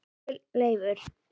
Elsku Leifur.